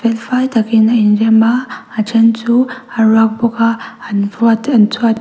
fel fai takin an inrem a a then chu a bawk a an an chhuat --